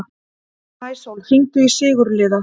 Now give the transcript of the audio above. Maísól, hringdu í Sigurliða.